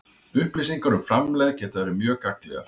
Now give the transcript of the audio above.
Upplýsingar um framlegð geta verið mjög gagnlegar.